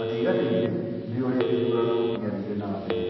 matiaiganĩire nĩũrĩa gĩthurano gĩathire nambere.